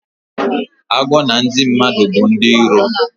Agwọ na ndi madu bu ndi ilo